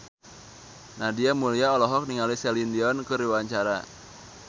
Nadia Mulya olohok ningali Celine Dion keur diwawancara